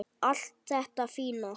Allt þetta fína.